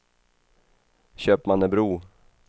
Köpmannebro